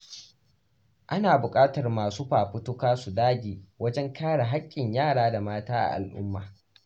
Ana bukatar masu fafutuka su dage wajen kare haƙƙin yara da mata a al’umma.